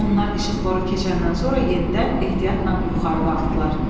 Onlar işıqforu keçəndən sonra yenidən ehtiyatla yuxarı qalxdılar.